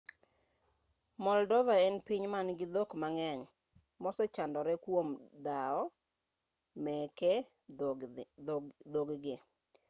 moldova en piny man-gi dhok mang'eny ma osechandore kuom dhawo meke dhokgi